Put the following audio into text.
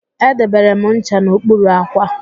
Edebere m ncha n'okpuru àkwà